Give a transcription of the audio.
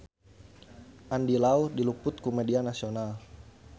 Andy Lau diliput ku media nasional